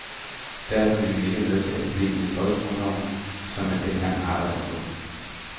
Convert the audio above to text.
Derfor ville man ikke medtage problemet i folkeskoleloven, som man dengang arbejdede på.